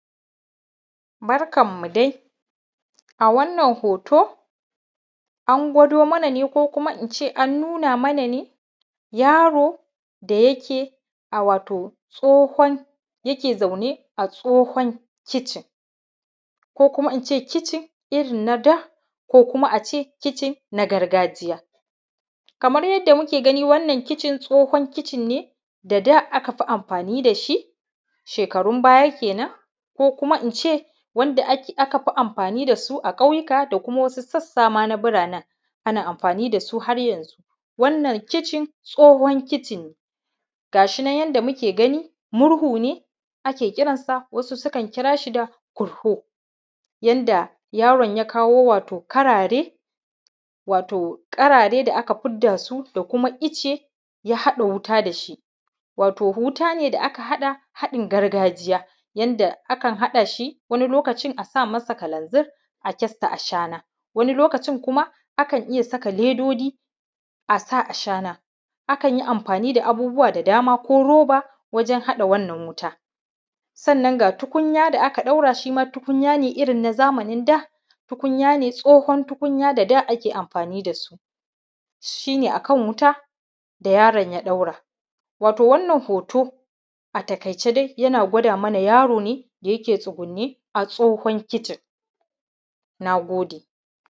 Barkanmu dai a wannan hoto a gwado mana ne ko kuma ina ne an nuna mana ne yaro da yake wato yana zaune a tsohon kitchen kuma in ce kitchen na gargajiya kamar yadda muke gani Wannan kitchen tsohon kitchen ne da aka fi amfani da su shekarun baya kenan ko kuma ina ce aka fi anfani da su a ƙauyuka da kuma wasu sassa ma na buranen ana amfani da su har yanzu da kitchen tsohon kitchen ga shi na yanda muke gani murhu ne ake kiransa wasu sukan kira shi da kurhu yadda yaron ya kawo wato karare da aka fidda su da kuma icce ya haɗa wuta da shi. Wato wuta ne da aka haɗa haɗin gargajiya yadda akan haɗa wani lokaci a sa masa kalanzir a kyasta ashana wani lokacin kuma akan iya saka ledoji a sa ashana akan yi amfani da abubuwa da dama ko roba wajen hada wannan wuta. Sannan ga tukunya da a kai ɗaura shi ma tukunya ne irin na zamanin da. Tukunya ne tsohon tukunya da da ake amfani da su, shi ne a kan wuta da yaron ya ɗaura. Wato wannan hoto a takaice dai yana gwada mana yaro ne da yake tsugunne a tsohon kitchen. Na gode.